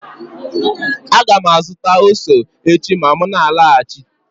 Aga m azụta ose echi ma m na-alọghachi